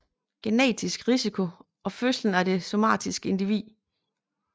Genetisk risiko og fødslen af det somatiske individ